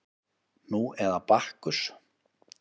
Nú eða Bakkus